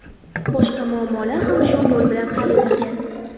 Boshqa muammolar ham shu yo‘l bilan hal etilgan.